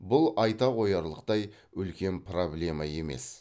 бұл айта қоярлықтай үлкен проблема емес